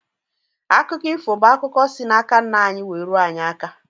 Akụkọ ifo bụ akụkọ si n'aka nna anyị wee ruo anyị aka.